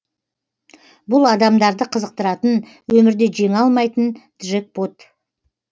бұл адамдарды қызықтыратын өмірде жеңе алмайтын джекпот